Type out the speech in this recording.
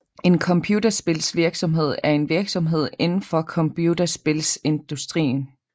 En computerspilsvirksomhed er en virksomhed indenfor computerspilsindustrien